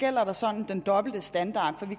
gælder der sådan en dobbelt standard